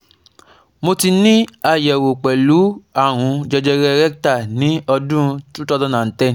Mo ti ni ayẹwo pẹlu arun jejere rectal ni ọdun two thousand and ten